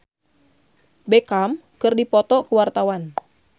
Rezky Aditya jeung David Beckham keur dipoto ku wartawan